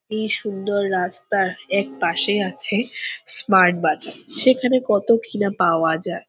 এই সুন্দর রাস্তার এক পাশে আছে স্মার্ট বাজার সেখানে কত কিনা পাওয়া যায় ।